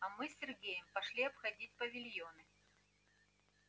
а мы с сергеем пошли обходить павильоны